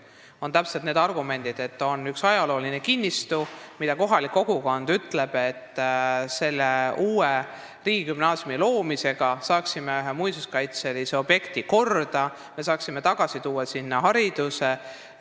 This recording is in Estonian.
Seal on täpselt need argumendid, et on üks ajalooline kinnistu ning kohalik kogukond ütleb, et riigigümnaasiumi loomise abil saaks ühe muinsuskaitselise objekti korda, saaks sinna tagasi tuua haridusasutuse.